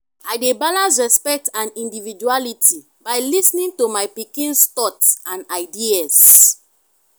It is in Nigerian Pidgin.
i dey balance respect and individuality by lis ten ing to my pikin’s thoughts and ideas.